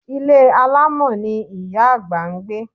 Ilé alámọ̀ ni Ìyá àgbà ń gbé.